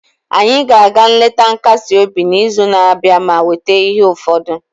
anyị ga-aga nleta nkasi obi n'izu na-abịa ma weta ihe ụfọdụ